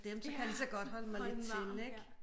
Dem så kan jeg lige så godt holde mig lidt til ik